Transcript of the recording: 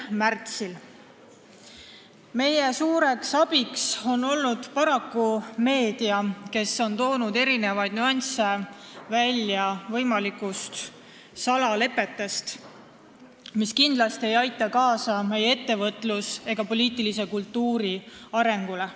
Meile on suureks abiks olnud meedia, kes on toonud välja võimalike salalepete nüansse, mis kindlasti ei aita kaasa meie ettevõtluskultuuri ega poliitilise kultuuri arengule.